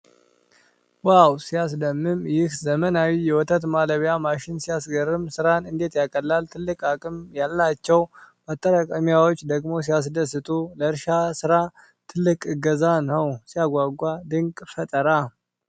ዋው! ሲያስደምም! ይህ ዘመናዊ የወተት ማለቢያ ማሽን ሲያስገርም! ሥራን እንዴት ያቀላል! ትልቅ አቅም ያላቸው ማጠራቀሚያዎች ደግሞ ሲያስደስቱ! ለእርሻ ሥራ ትልቅ እገዛ ነው! ሲያጓጓ! ድንቅ ፈጠራ!